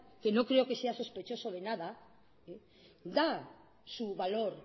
que no creo que sea sospechoso de nada da su valor